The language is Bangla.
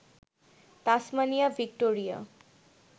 Tasmania, Victoria